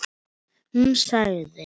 Hún sagði